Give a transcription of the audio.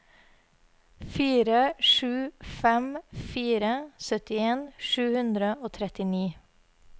fire sju fem fire syttien sju hundre og trettini